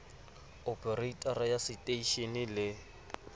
opereitara ya seteishene le d